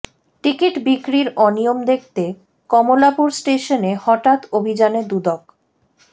ticket বিক্রির অনিয়ম দেখতে কমলাপুর স্টেশনে হঠাৎ অভিযানে দুদক